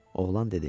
Oğlan dedi: